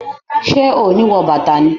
Ṣe o ni wọ bàtà ni?